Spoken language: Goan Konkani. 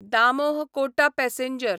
दामोह कोटा पॅसेंजर